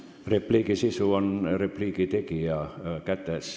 Repliigi sisu on repliigi tegija kätes.